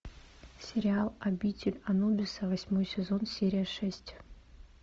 сериал обитель анубиса восьмой сезон серия шесть